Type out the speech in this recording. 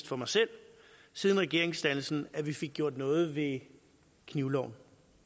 for mig selv siden regeringsdannelsen at vi fik gjort noget ved knivloven